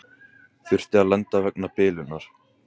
Þurfti að lenda vegna bilunar